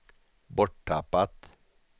borttappat